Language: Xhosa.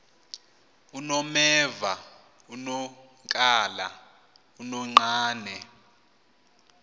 unomeva unonkala unonqane